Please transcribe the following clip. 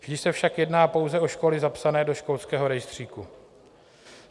Vždy se však jedná pouze o školy zapsané do školského rejstříku.